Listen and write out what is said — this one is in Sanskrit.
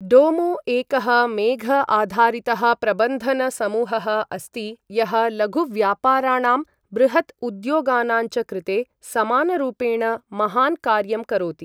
डोमो एकः मेघ आधारितः प्रबन्धन समूहः अस्ति यः लघुव्यापाराणां बृहत् उद्योगानाञ्च कृते समानरूपेण महान् कार्यं करोति ।